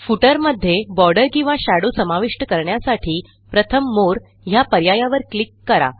footer मध्ये border किंवा shadow समाविष्ट करण्यासाठी प्रथम Moreह्या पर्यायावर क्लिक करा